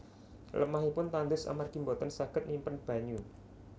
Lemahipun tandus amargi boten saged nyimpen banyu